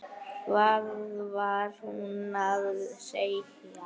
Hvað var hún að segja?